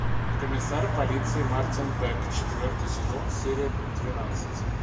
комиссар полиции мартин бек четвертый сезон серия двенадцать